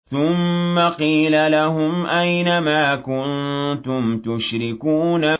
ثُمَّ قِيلَ لَهُمْ أَيْنَ مَا كُنتُمْ تُشْرِكُونَ